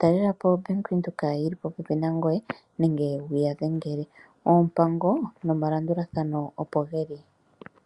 talelapo ombaanga yaWindhoek yili popepi nangoye nenge wuya dhengele. Oompango nomalandulathano opo geli.